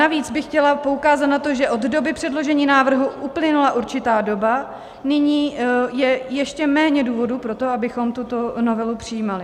Navíc bych chtěla poukázat na to, že od doby předložení návrhu uplynula určitá doba, nyní je ještě méně důvodů pro to, abychom tuto novelu přijímali.